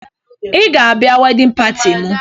Ị ga-abịa wedịn pati m!